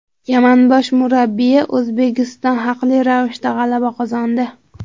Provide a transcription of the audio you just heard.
Yaman bosh murabbiyi: O‘zbekiston haqli ravishda g‘alaba qozondi.